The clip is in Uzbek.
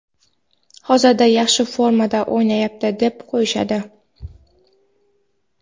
hozir yaxshi formada o‘ynayapti deb qo‘yishadi.